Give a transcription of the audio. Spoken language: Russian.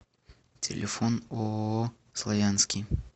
телефон ооо славянский